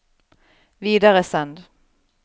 videresend